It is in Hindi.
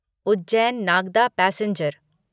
उज्जैन नागदा पैसेंजर